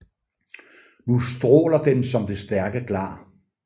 Nu straaler den som det stærke Glar